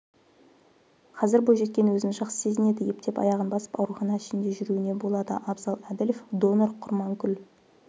қазір бойжеткен өзін жақсы сезінеді ептеп аяғын басып аурухана ішінде жүруіне болады абзал әділов донор құрманкүл